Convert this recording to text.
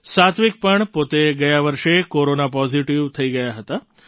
સાત્વિક પણ પોતે ગયા વર્ષે કોરોના પૉઝિટિવ થઈ ગયા હતા